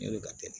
Ne ka